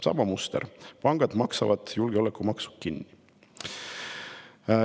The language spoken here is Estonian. Sama muster: pangad maksavad julgeolekumaksu kinni.